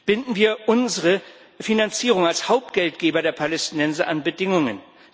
Binden wir unsere Finanzierung als Hauptgeldgeber der Palästinenser an Bedingungen.